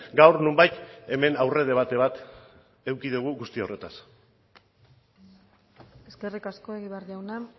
gaur nonbait hemen aurredebate bat eduki dugu guzti horretaz eskerrik asko egibar jauna